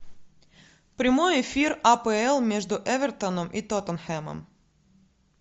прямой эфир апл между эвертоном и тоттенхэмом